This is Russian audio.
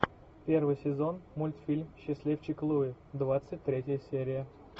первый сезон мультфильм счастливчик луи двадцать третья серия